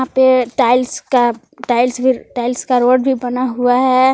पे टाइल्स का टाइल्स भी टाइल्स का रोड भी बना हुआ है।